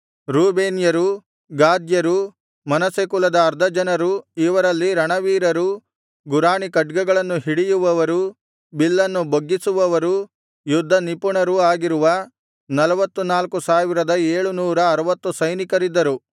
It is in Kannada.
ರೂಬೇನ್ಯರು ಗಾದ್ಯರು ಮನಸ್ಸೆ ಕುಲದ ಅರ್ಧ ಜನರು ಇವರಲ್ಲಿ ರಣವೀರರೂ ಗುರಾಣಿ ಖಡ್ಗಗಳನ್ನು ಹಿಡಿಯುವವರೂ ಬಿಲ್ಲನ್ನು ಬೊಗ್ಗಿಸುವವರೂ ಯುದ್ಧ ನಿಪುಣರೂ ಆಗಿರುವ ನಲ್ವತ್ತನಾಲ್ಕು ಸಾವಿರದ ಏಳು ನೂರ ಅರವತ್ತು ಸೈನಿಕರಿದ್ದರು